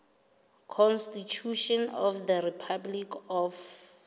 constitution of the republic of